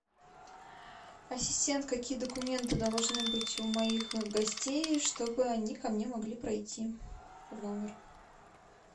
ассистент какие документы должны быть у моих гостей чтобы они ко мне могли пройти в номер